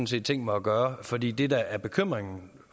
set tænkt mig at gøre fordi det der er bekymringen